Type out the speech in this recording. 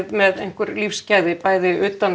með einhver lífsgæði bæði utan